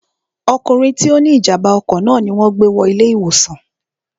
ọkùnrin tí ó ní ìjàmbá ọkọ̀ náà ni wọn gbé wọ ilé ìwòsàn